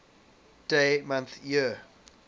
dd mm yyyy